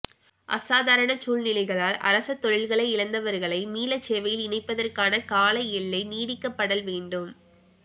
அசாதாரண சுழ்நிலைகளால் அரசதொழில்களை இழந்தவர்களை மீள சேவையில் இணைப்பதற்கான கால எல்லை நீடிக்கப்படல் வேண்டும்